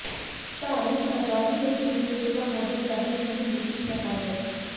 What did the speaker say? ਧਾਰਮਿਕ ਆਜ਼ਾਦੀ ਲਈ ਗੁਰੂ ਤੇਗ ਬਹਾਦਰ ਸਾਹਿਬ ਜੀ ਨੇ ਦਿੱਤੀ ਸ਼ਹਾਦਤ